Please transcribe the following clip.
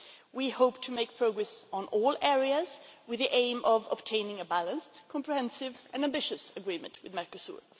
We hope to make progress on all areas with the aim of obtaining a balanced, comprehensive and ambitious agreement with Mercosur.